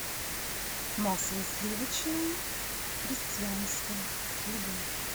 масло сливочное крестьянское любое